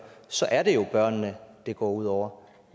så er det jo børnene det går ud over